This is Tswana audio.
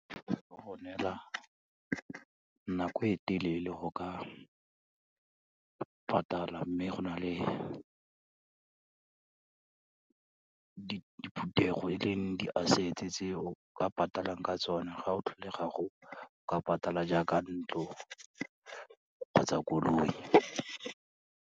Ba go neela nako e telele go ka patala, mme go na le diphuthego e leng di-assets-e tse o ka patalang ka tsona, ga o tlholega o ka patala jaaka ntlo kgotsa koloi.